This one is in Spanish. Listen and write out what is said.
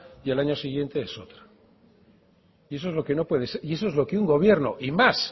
y al año siguiente es otra y eso es lo que no puede ser y eso es lo que un gobierno y más